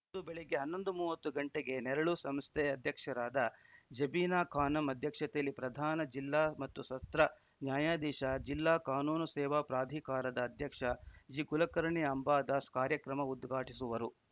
ಅಂದು ಬೆಳಗ್ಗೆ ಹನ್ನೊಂದು ಮೂವತ್ತು ಗಂಟೆಗೆ ನೆರಳು ಸಂಸ್ಥೆ ಅಧ್ಯಕ್ಷರಾದ ಜಬೀನಾ ಖಾನಂ ಅಧ್ಯಕ್ಷತೆಯಲ್ಲಿ ಪ್ರಧಾನ ಜಿಲ್ಲಾ ಮತ್ತು ಸತ್ರ ನ್ಯಾಯಾಧೀಶ ಜಿಲ್ಲಾ ಕಾನೂನು ಸೇವಾ ಪ್ರಾಧಿಕಾರದ ಅಧ್ಯಕ್ಷ ಜಿಕುಲಕರ್ಣಿ ಅಂಬಾದಾಸ್‌ ಕಾರ್ಯಕ್ರಮ ಉದ್ಘಾಟಿಸುವರು